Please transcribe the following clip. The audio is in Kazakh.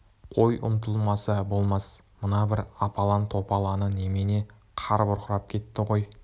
қой ұмтылмаса болмас мына бір апалаң-топалаңы немене қар бұрқырап кетті ғой